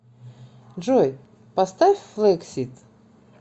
джой поставь флэксид